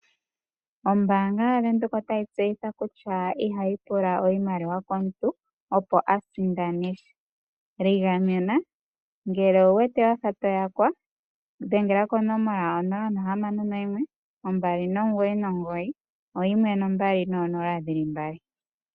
Ombaanga yaVenduka otayi tseyitha kutya ihayi pula iimaliwa komuntu opo asindane. Ligamena ngele owuwete wafa toyakwa dhengela konomola onola ohamano noyimwe ombali nomugoyi nomugoyi oyimwe nombali noonola dhili mbali.